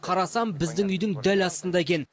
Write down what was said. қарасам біздің үйдің дәл астында екен